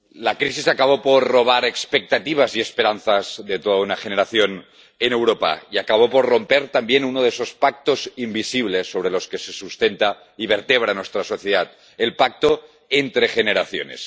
Señora presidenta, la crisis acabó por robar expectativas y esperanzas de toda una generación en Europa y acabó por romper también uno de esos pactos invisibles sobre los que se sustenta y vertebra nuestra sociedad el pacto entre generaciones.